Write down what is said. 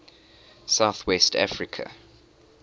south west africa